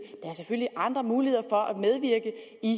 er selvfølgelig andre muligheder for at medvirke i